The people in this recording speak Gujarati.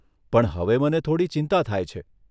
પણ હવે મને થોડી ચિંતા થાય છે.